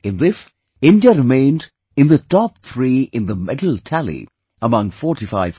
In this, India remained in the top three in the medal tally among 45 countries